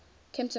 kemptonpark